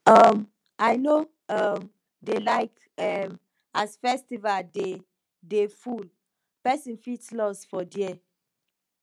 um i no um dey like um as festival dey dey full pesin fit loss for there